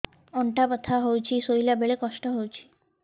ଅଣ୍ଟା ବଥା ହଉଛି ଶୋଇଲା ବେଳେ କଷ୍ଟ ହଉଛି